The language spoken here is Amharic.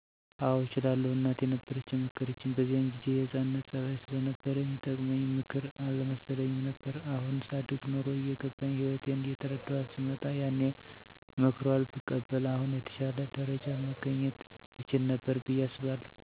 አዎ እችላለሁ፣ እናቴ ነበረች የመከረችኝ በዚያን ጊዜ የህፃንነት ፀባይ ስለነበረኝ ሚጠቅመኝ ምክር አልመሰለኝም ነበር። አሁን ሳድግ ኑሮ እየገባኝ ህይወትን እየተረዳኋት ስመጣ ያኔ ሞክሯል ብቀበል አሁን የተሻለ ደረጃ መገኘት እችል ነበር ብየ አስባለሁ።